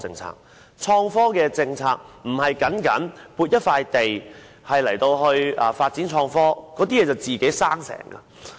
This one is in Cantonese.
所謂的創科政策，並非僅是撥出一塊地作發展創科之用那麼簡單。